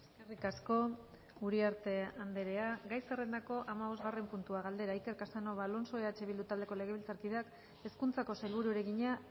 eskerrik asko uriarte andrea gai zerrendako hamabosgarren puntua galdera iker casanova alonso eh bildu taldeko legebiltzarkideak hezkuntzako sailburuari egina